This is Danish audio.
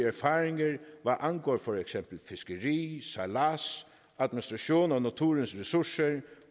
erfaringer hvad angår for eksempel fiskeri sejlads administration af naturens ressourcer